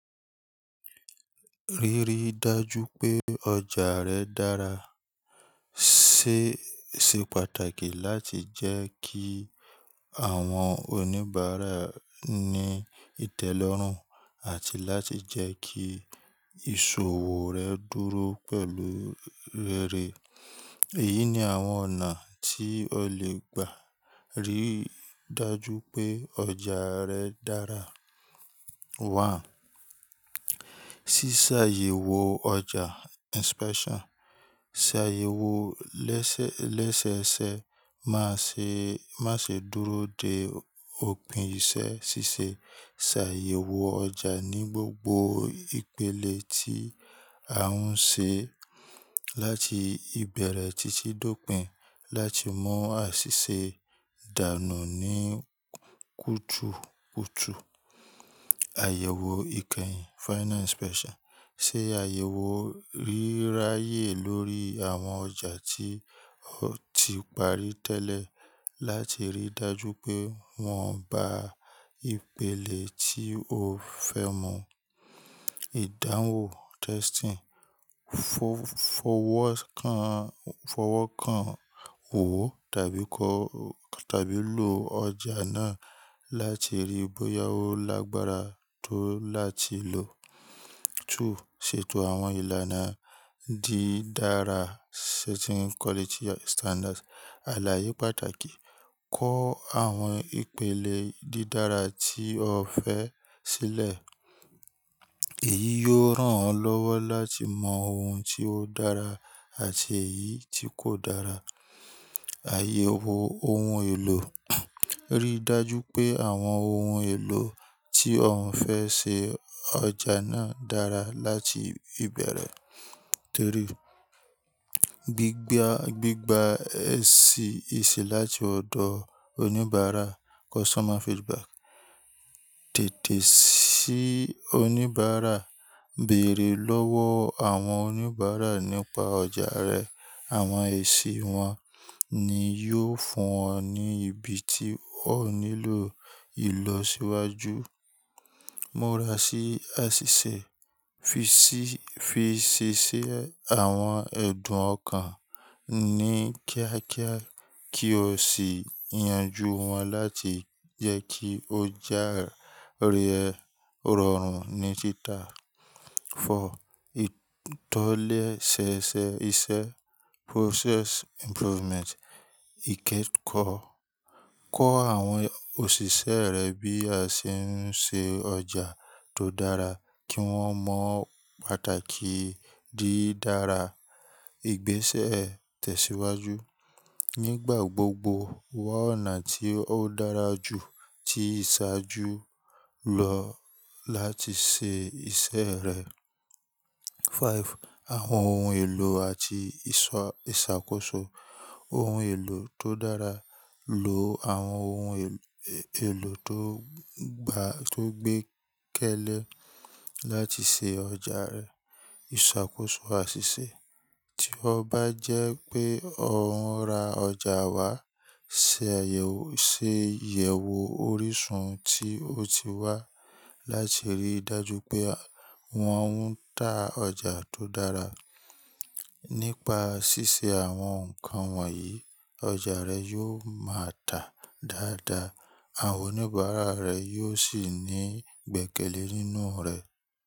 Ríri dájú pé ọjà rẹ dára Se o ṣe pàtàkì láti jẹ́ kí àwọn oníbàárà ní ìtẹ́lọ́rùn àti láti jẹ́ kí ìṣòwò rẹ dúró pẹ̀lú ere. Èyí ni àwọn ọ̀nà tí o lè gbà ríi dájú pé ọjà rẹ dára. Ṣíṣàyẹ̀wò ọjà inspection. Ṣàyẹ̀wò lẹ́sẹ́ẹsẹ, má ṣe dúró dé òpin ìṣe. Ṣíṣe ṣàyẹ̀wò ọjà ní gbogbo ìpele tí a ń ṣe láti ìbẹ̀rẹ̀ títí dé òpin láti mọ àṣìṣe dànù ní kùtùkùtù. Àyẹ̀wò ìkẹyìn, finance special. Ṣe àyẹ̀wò ríráyé lórí àwọn ọjà tí o ti parí tẹ́lẹ̀ láti ríi dájú pé wọ́n ba ìpele tí o fẹ́ mu. Ìdáwon testing, fọwọ́ kan owo, tàbi lo ọjà náà láti ríi bóyá ó lágbára tó láti lò. Two, ṣètò àwọn ìlànà dídára setting quality standards. Àlàyé pàtàkì, kó àwọn ìpele dídára tí o fẹ́ sílẹ̀. Èyí yóò rán ọ lọ́wọ́ láti mọ ohun tí ó dára àti èyí tí kò dára. Àyẹ̀wò ohun èlò. Rí dájú pé, àwọn ohun èlò tí ọ fẹ́ ṣe ọjà náà dára láti ìbẹ̀rẹ̀. Three, gbígba eṣin láti ọ̀dọ̀ oníbàárà customer feedback. Ti oníbàárà, bèèrè lọ́wọ́ àwọn oníbàárà nípa ọjà rẹ, àwọn èṣì wọn ni yóò fún ọ ní ibi tí o nílò ìlọsíwájú. Múra sí àṣìṣe. Fi ṣiṣẹ́ àwọn ẹ̀dùn ọkàn, ní kíákíá kí o sì yanjú wọn láti jẹ́ kí ọjà rẹ rọrùn ní títà. Four, ìtọ́lẹ́sẹẹsẹ iṣẹ́ process improvement. Ìkẹ́ẹ̀kọ́. Kọ́ àwọn òṣìṣẹ́ rẹ bí a ṣe ń ṣe ọjà tó dára, kí wọ́n mọ pàtàkì dídára. Ìgbésẹ̀ ìtẹ̀síwájú. Nígbà gbogbo, wá ọ̀nà tí ó dára jù tí ìṣáájú lọ láti ṣe iṣẹ́ rẹ. Five, àwọn ohun èlò àti ìṣàkóso. Ohun èlò tó dára, lo àwọn ohun èlò tó gbé kẹ́lẹ́ láti ṣe ọjà rẹ. Ìṣàkóso àṣìṣe. Tí ó bá jẹ́ pé ó ń ra ọjà wá, ṣe ìyẹ̀wò orísun tí ó ti wá láti ríi dájú pé wọn ń tà ọjà tó dára. Nípa ṣíṣe àwọn nǹkan wọ̀nyí, ọjà rẹ yóò máa tà dáadáa, àwọn oníbàárà rẹ yóò sì ní gbẹ́kẹ̀lé nínú rẹ.